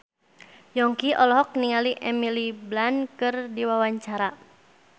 Yongki olohok ningali Emily Blunt keur diwawancara